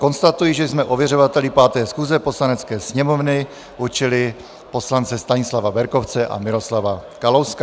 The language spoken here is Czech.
Konstatuji, že jsme ověřovateli 5. schůze Poslanecké sněmovny určili poslance Stanislava Berkovce a Miroslava Kalouska.